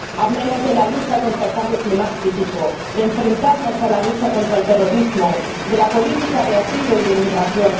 Hablemos de la lucha contra el cambio climático, de enfrentarnos a la lucha contra el terrorismo, de la política de asilo y de inmigración.